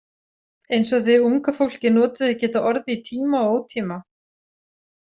Eins og þið unga fólkið notið ekki þetta orð í tíma og ótíma.